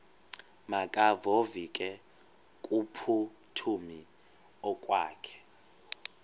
makevovike kumphuthumi okokwakhe